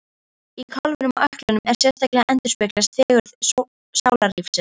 Í kálfunum og ökklunum sérstaklega endurspeglast fegurð sálarlífsins.